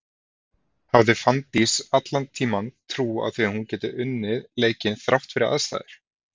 Hafði Fanndís allan tíman trú á því að geta unnið leikinn þrátt fyrir aðstæður?